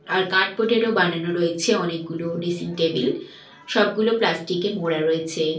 আর cardboard -এরও বানানো রয়েছে অনেকগুলো ড্রেসিং টেবিল সবগুলো প্লাস্টিক -এ মোড়া রয়েছে।